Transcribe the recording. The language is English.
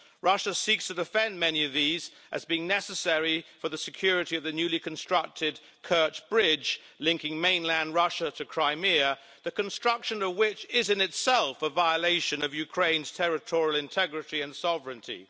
Russia seeks to defend many of these as being necessary for the security of the newly constructed Kerch Bridge linking mainland Russia to Crimea, the construction of which is, in itself, a violation of Ukraine's territorial integrity and sovereignty.